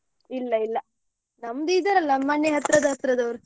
ಇಲ್ಲ ಇಲ್ಲ ನಮ್ದು ಇದ್ದರಲ್ಲ ಮನೆ ಹತ್ರದ ಹತ್ರದವ್ರು.